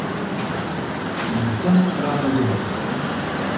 Hann er dökkgrár að hluta